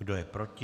Kdo je proti?